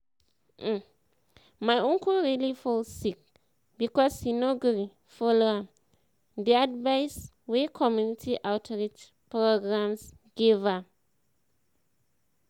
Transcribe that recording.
um my uncle really fall sick because he no gree follow um the um advice wey community outreach programs give am.